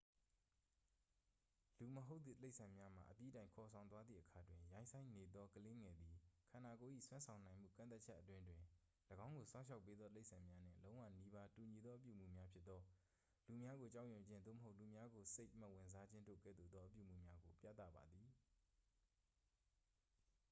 လူမဟုတ်သည့် တိရစ္ဆာန်များမှ အပြီးတိုင်ခေါ်ဆောင်သွားသည့်အခါတွင်၊ ရိုင်းစိုင်းနေသောကလေးငယ်သည် ခန္ဓာကိုယ်၏စွမ်းဆောင်နိုင်မှုကန့်သတ်ချက်အတွင်းတွင် ၎င်းကိုစောင့်ရှောက်ပေးသောတိရစ္ဆာန်များနှင့် လုံးဝနီးပါးတူညီသော အပြုအမူများဖြစ်သော၊ လူများကိုကြောက်ရွံ့ခြင်း သို့မဟုတ် လူများကိုစိတ်မဝင်စားခြင်းတို့ကဲ့သို့သော အပြုအမူများကို ပြသပါသည်။